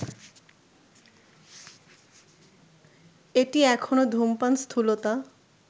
এটি এখনো ধূমপান, স্থূলতা